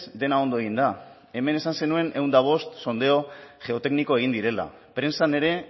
dena ondo egin da hemen esan zenuen ehun eta bost sondeo geotekniko egin direla prentsan ere